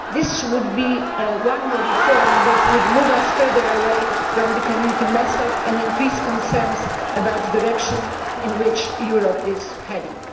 This would be one more reform that would move us further away from the Community method and increase concerns about the direction in which Europe is heading.